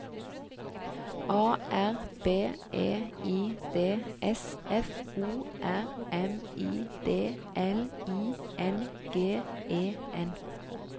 A R B E I D S F O R M I D L I N G E N